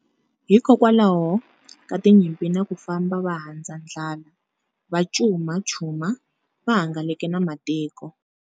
Hi kokwalaho ka tinyimpi na ku famba va handza ndlala, va Cuma Chuma, va hangalake na matiko.